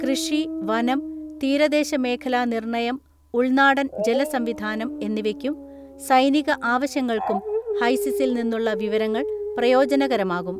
കൃഷി, വനം, തീരദേശ മേഖലാ നിർണ്ണയം ഉൾനാടൻ ജല സംവിധാനം എന്നിവയ്ക്കും സൈനിക അവശ്യങ്ങൾക്കും ഹൈസിസിൽ നിന്നുളള വിവരങ്ങൾ പ്രയോജനകരമാകും.